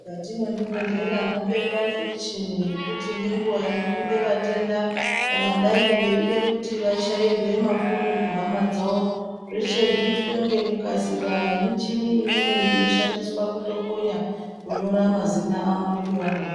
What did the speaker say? Mukati mwezvibhedhlera mobekwa nemichini yekuti ngenguva inopinde vatenda kana dai veida kuti vachairwe mafoni kuhama dzavo. Zveshe zvitwe ngekukasika nemichini imweni inoshandiswa pakutokonya kunyora mazina avo nepavanogara.